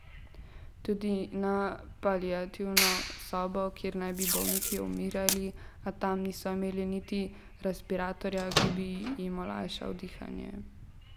Tudi na paliativno sobo, kjer naj bi bolniki umirali, a tam niso imeli niti respiratorja, ki bi jim olajšal dihanje.